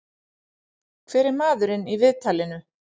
Hver er maðurinn í viðtalinu?